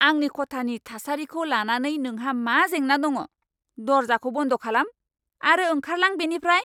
आंनि खथानि थासारिखौ लानानै नोंहा मा जेंना दङ? दर्जाखौ बन्द खालाम आरो ओंखारलां बेनिफ्राय!